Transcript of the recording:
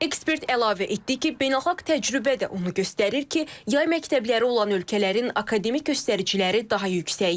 Ekspert əlavə etdi ki, beynəlxalq təcrübə də onu göstərir ki, yay məktəbləri olan ölkələrin akademik göstəriciləri daha yüksəkdir.